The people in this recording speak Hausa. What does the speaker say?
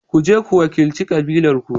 Ku je ku wakilci kabilarku.